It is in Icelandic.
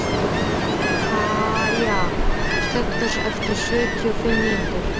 Kaja, slökktu á þessu eftir sjötíu og fimm mínútur.